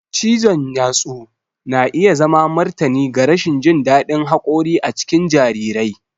Cizon yatsu na iya zama martani ga rashin jin daɗin haƙori a cikin jarirai.